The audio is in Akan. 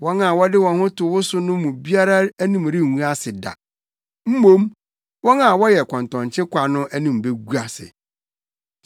Wɔn a wɔde wɔn ho to wo so no mu biara anim rengu ase da, mmom, wɔn a wɔyɛ kɔntɔnkye kwa no anim begu ase.